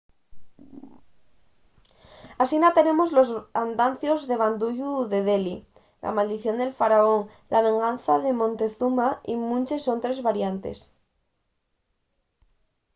asina tenemos los andancios de banduyu de delhi la maldición del faraón la venganza de montezuma y munches otres variantes